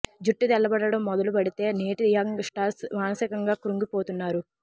జుట్టు తెల్లబడడం మొదలు పెడితే నేటి యంగ్ స్టర్స్ మానసికంగా కృంగిపోతున్నారు